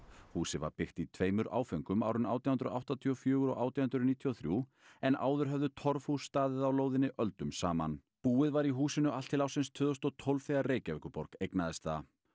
húsið var byggt í tveimur áföngum árin átján hundruð áttatíu og fjögurra og átján hundruð níutíu og þrjú en áður höfðu torfhús staðið á lóðinni öldum saman búið var í húsinu allt til ársins tvö þúsund og tólf þegar Reykjavíkurborg eignaðist það